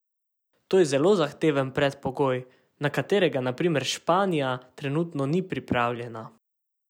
To je zelo zahteven predpogoj, na katerega na primer Španija trenutno ni pripravljena.